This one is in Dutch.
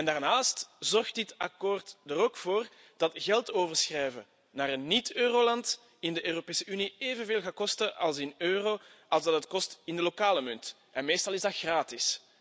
Daarnaast zorgt dit akkoord er ook voor dat geld overschrijven naar een niet-euroland in de Europese Unie evenveel gaat kosten in euro als in de lokale munt. Meestal is dat gratis.